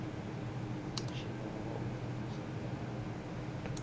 mutshino wa u mvumvusa na